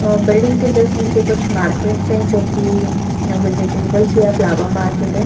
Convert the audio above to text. अ building के just नीचे कुछ मार्केट्स हैं जो कि वेजिटेबल्स या फ्लावर मार्केट है।